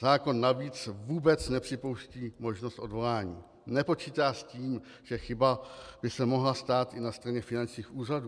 Zákon navíc vůbec nepřipouští možnost odvolání, nepočítá s tím, že chyba by se mohla stát i na straně finančních úřadů.